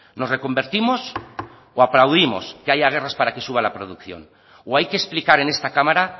nos reconvertimos o aplaudimos que haya guerras para que suba la producción o hay que explicar en esta cámara